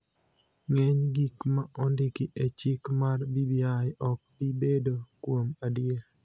ng�eny gik ma ondiki e chik mar BBI ok bi bedo, kuom adier,